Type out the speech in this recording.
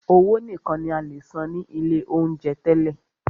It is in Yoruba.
Owó nìkan ní a lè san ní ilé oúnjẹ tẹ́lẹ̀.